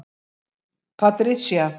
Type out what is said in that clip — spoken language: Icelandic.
Patricia